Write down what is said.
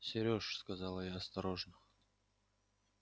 сереж сказала я осторожно